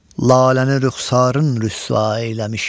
Laləni rüxsarın rüsva eyləmiş.